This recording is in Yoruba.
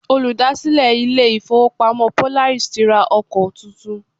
Olùdásílẹ̀ ilé ìfọwọ́pamo Polaris ti ra ọkọ tuntun.